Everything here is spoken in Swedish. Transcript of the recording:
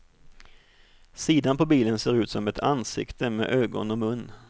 Sidan på bilen ser ut som ett ansikte med ögon och mun.